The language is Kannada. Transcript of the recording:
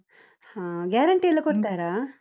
ಹಾ guarantee ಎಲ್ಲ ಕೊಡ್ತಾರಾ?